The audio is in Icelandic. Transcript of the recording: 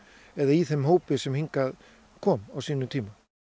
eða í þeim hópi sem hingað kom á sínum tíma